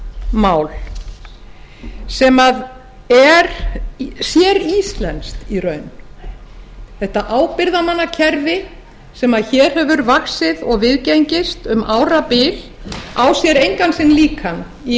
mál sem er séríslenskt í raun þetta ábyrgðarmannakerfi sem hér hefur vaxið og viðgengist um árabil á sér engan sinn líka í